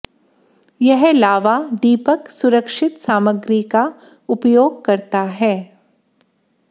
यह लावा दीपक सुरक्षित सामग्री का उपयोग करता है